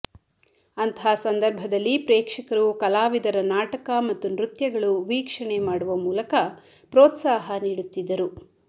ಅಂಥಹ ಸಂದರ್ಭದಲ್ಲಿ ಪ್ರೇಕ್ಷ ಕರು ಕಲಾವಿದರ ನಾಟಕ ಮತ್ತು ನೃತ್ಯಗಳು ವೀಕ್ಷ ಣೆ ಮಾಡುವ ಮೂಲಕ ಪ್ರೋತ್ಸಾಹ ನೀಡುತ್ತಿದ್ದರು